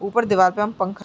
ऊपर दीवाल पे हम पंखा --